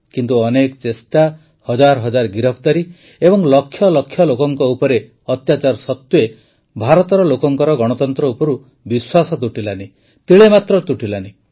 କିନ୍ତୁ ଅନେକ ଚେଷ୍ଟା ହଜାର ହଜାର ଗିରଫଦାରୀ ଏବଂ ଲକ୍ଷ ଲକ୍ଷ ଲୋକଙ୍କ ଉପରେ ଅତ୍ୟାଚାର ସତ୍ୱେ ଭାରତର ଲୋକଙ୍କର ଗଣତନ୍ତ୍ର ଉପରୁ ବିଶ୍ୱାସ ତୁଟିଲାନି ତିଳେ ମାତ୍ର ତୁଟିଲାନି